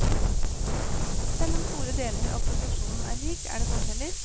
Selv om store deler av produksjonen er lik, er det forskjeller.